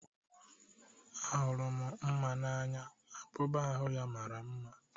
Ahụrụ m mma n'anya abụba ahu ọ mara mma.